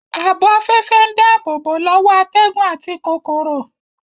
Ààbò afẹ́fẹ́ ń dáàbòbò lọ́wọ́ atẹ́gùn àti kòkòrò